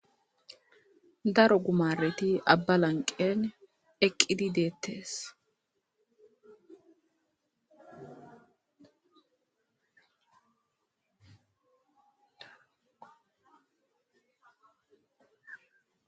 daro gumareti abba lanqeen eqqidi deettees